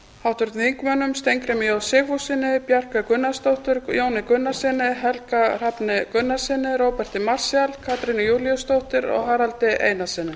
háttvirtum þingmönnum steingrími j sigfússyni bjarkeyju gunnarsdóttur jóni gunnarssyni helga hrafni gunnarssyni róberti marshall katrínu júlíusdóttur og haraldi einarssyni